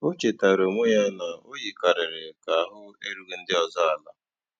O chétàara onwé ya na o yìkàrị̀rị́ kà àhụ́ èrùghị́ ndí ọ́zọ́ àla.